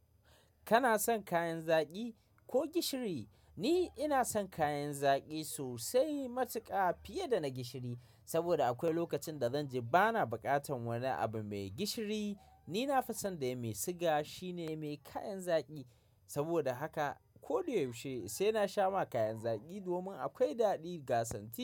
Kana son kayan zaki ko gishiri? Ni ina son kayan zaki sosai matuka fiye da na gishiri. Saboda akwai lokacin da zanji bana bukatan wani abu mai gishiri. Ni na fi son da ya mai siga. Shi ne mai kayan zaki. Saboda haka ko da yaushe sai na sha ma kayan zaki domin akwai daɗi ga santi.